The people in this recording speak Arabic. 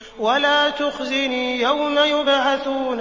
وَلَا تُخْزِنِي يَوْمَ يُبْعَثُونَ